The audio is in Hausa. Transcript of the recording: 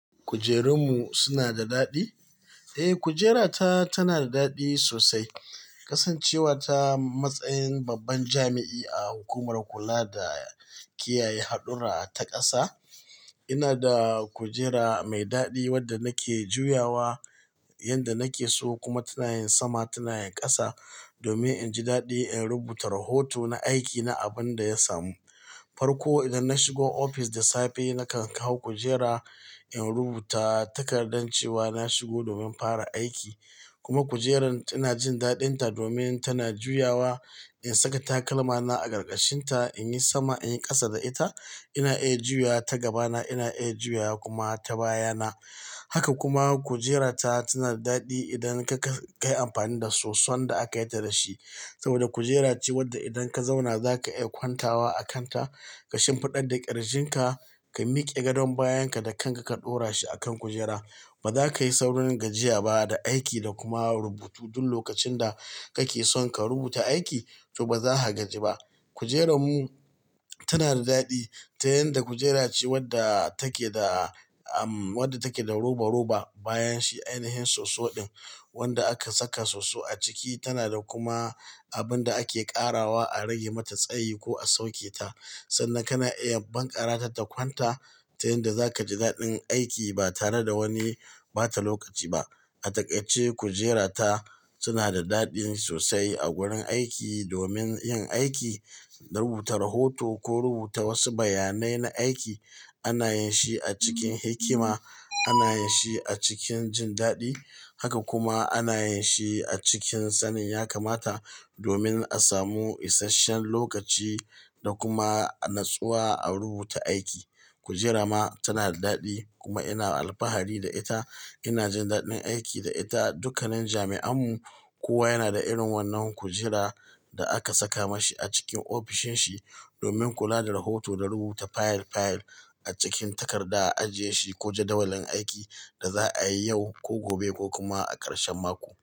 Kujerun mu suna da daɗi? Eh, kujera ta tana da daɗi sosai, kasancewa ta matsayin babban jami'i a hukumar kula da kiyaye haɗurra ta ƙasa. Ina da kujera mai daɗi wadda nake juyawa yanda nake so kuma tana yin sama, tana yin ƙasa domin in ji daɗi in rubuta rohoto na aiki na abin da ya samu. Farko idan na shigo ofis da safe, nakan kawo kujera in rubuta takardar cewa na shigo domin fara aiki. Kuma kujerar ina jin daɗinta domin tana juyawa, in saka takalma na a ƙarƙashinta, in yi sama, in yi ƙasa da ita, ina iya juyawa ta gaba na, ina iya juyawa kuma ta baya na. Haka kuma kujerar ta, tana dadi idan kayi amfani da soson da aka yi ta da shi saboda kujera ce wadda idan ka zauna zaka iya kwantawa a kanta ka shimfiɗa da ƙirjin ka, ka miƙe gadon bayan ka da kanka ka ɗora shi akan kujera. Ba za ka yi saurin gajiya ba da aiki da kuma rubutu duk lokacin da kake son ka rubuta aiki, to ba za ka gaji ba. Kujerun mu tana da ɗadi ta yanda kujera ce wadda take da, um, wadda take da roba-roba bayan shi. Ainihin soso din wanda aka saka soso a ciki, tana da kuma abun da ake ƙarawa a rage mata tsayi ko a sauke ta. Sannan kana iya bankarata ta kwanta ta inda zaka ji dadin aiki na tare da bata lokaci ba a takaice, kujera ta suna da daɗi sosai a wurin aiki domin yin aiki, na rubuta rohoto ko rubuta wasu bayanai na aiki. Ana yin shi a cikin hikima, ana yin shi a cikin jin daɗi. Haka kuma ana yin shi a cikin sanin ya kamata domin a samu isashen lokaci da kuma natsuwa a rubuta aiki. Kujera ma tana da daɗi kuma ina alfahari da ita. Ina jin daɗin aiki da ita. Dukkanin jami'an mu kowa yana da irin wannan kujera da aka saka ma shi a cikin ofishin shi domin kula da rahoto da rubuta fayil-fayil a cikin takarda a ajiye shi ko jadawalin aiki da za a yi yau ko gobe ko kuma a ƙarshen mako.